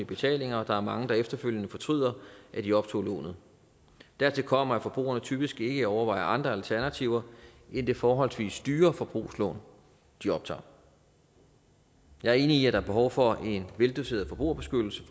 betalinger og der er mange der efterfølgende fortryder at de optog lånet dertil kommer at forbrugerne typisk ikke overvejer andre alternativer end det forholdsvis dyre forbrugslån de optager jeg er enig i at der er behov for en veldoseret forbrugerbeskyttelse